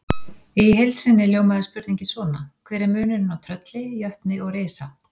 Í heild sinni hljómaði spurningin svona: Hver er munurinn á trölli, jötni og risa?